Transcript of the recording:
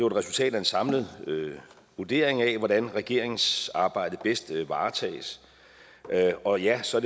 et resultat af en samlet vurdering af hvordan regeringens arbejde bedst varetages og ja så